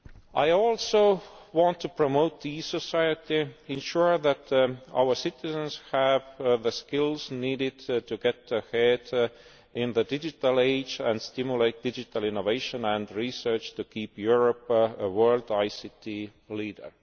are. I also want to promote e society, ensure that our citizens have the skills needed to get ahead in the digital age and stimulate digital innovation and research to keep Europe a world ICT leader.